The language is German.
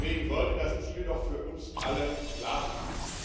Deswegen sollte das Ziel doch für uns alle klar sein.